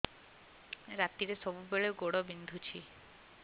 ରାତିରେ ସବୁବେଳେ ଗୋଡ ବିନ୍ଧୁଛି